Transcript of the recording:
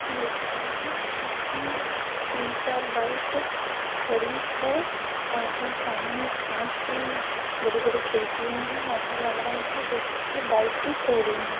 ये एक रूम हैउसमे तीन चार बाइके खड़ी है और सामने कांच की बड़ी-बड़ी खिडकियां है ऐसा लग रहा है जैसे की बाइक की शौरूम है।